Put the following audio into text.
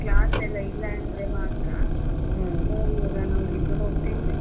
Class ಎಲ್ಲ ಇಲ್ಲ ಅಂದ್ರೆ ಮಾತ್ರ. ಎಲ್ಲ ನೋಡ್ಲಿಕ್ಕೆ ಹೋಗ್ತಿದ್ವಿ.